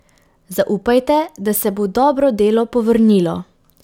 Zaupajte, da se bo dobro delo povrnilo.